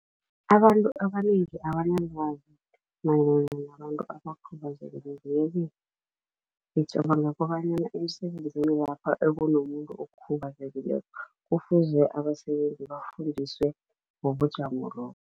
Abantu abanengi abanalwazi mayelana nabantu abakhubazekile yeke gicabanga kobanyana emisebenzini lapho abone umuntu okhubazekileko kufuze abasebenzi bafundiswe ngobujamo lobo.